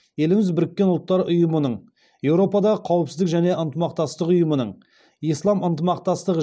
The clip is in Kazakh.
еліміз біріккен ұлттар ұйымының еуропадағы қауіпсіздік және ынтымақтастық ұйымының ислам ынтымақтастығы